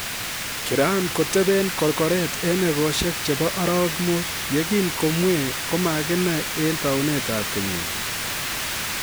Kiran koteben korgoret en egosiek chebo arawek mut ye kin komwei komakinai en taunetab kenyini